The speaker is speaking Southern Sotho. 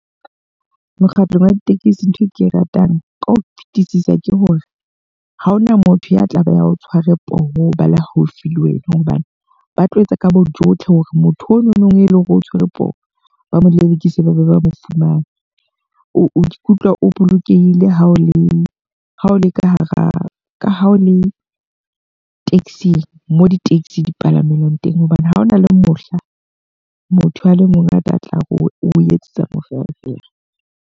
Mokgatlo wa ditekesi ntho e ke e ratang ka ho fetisisa ke hore, ha hona motho ya tla ba ya o tshware poho ba le haufi le wena. Hobane ba tlo etsa ka bo jotlhe hore motho o no nong eleng hore oo tshwerwe poho, ba mo lelekise ba be ba mo fumane. O ikutlwa o bolokehile ha o le ha o le ka hara ka ha o le taxi-ng mo di-taxi di palamelwang teng. Hobane ha hona le mohla motho a le mong a tla o etsetsa moferefere.